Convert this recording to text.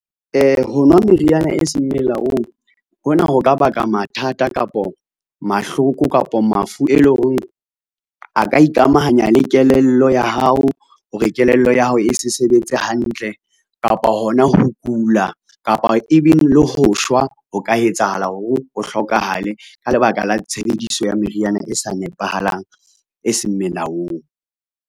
Ho nwa meriana e seng melaong, hona ho ka baka mathata kapa mahloko, kapo mafu, e leng hore a ka ikamahanya le kelello ya hao hore kelello ya hao e se sebetse hantle kapa hona ho kula kapa even le ho shwa ho ka etsahala ho re o hlokahale, ka lebaka la tshebediso ya meriana e sa nepahalang, e seng melaong.